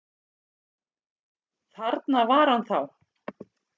Þarna var hann þá!